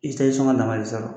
sɔngɔ dama de bɛ sɔrɔ